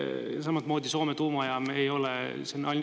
Samamoodi Soome tuumajaam ei ole …